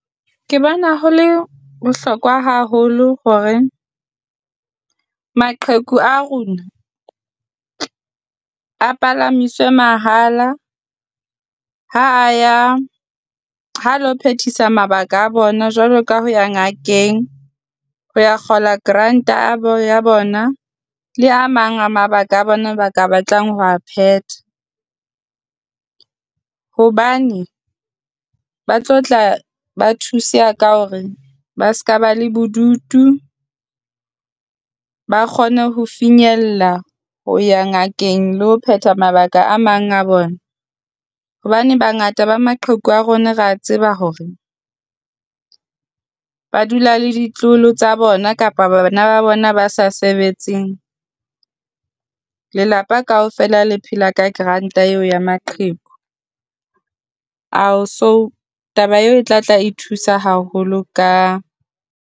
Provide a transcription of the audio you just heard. Ke bona ho le bohlokwa haholo hore maqheku a rona a palamiswe mahala ha a ya ha lo Phethisa mabaka a bona jwalo ka ho ya ngakeng, ho ya kgola grant a ba ya bona le a mang a mabaka a bona a ba ka batlang ho wa phetha. Hobane ba tlo tla ba thuseha ka hore ba se ka ba le bodutu, ba kgone ho finyella ho ya ngakeng le ho phetha mabaka a mang a bona. Hobane bangata ba maqheku a rona, rea tseba hore ba dula le ditloholo tsa bona kapa bana ba bona ba sa sebetseng. Lelapa kaofela le phela ka grant-a eo ya maqheku. Ao so taba eo e tla tla e thusa haholo ka.